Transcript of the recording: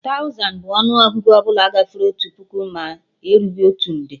Tauzan bụ ọnụ Ọgụgụ ọbụla gafere otu puku ma erughị otu nde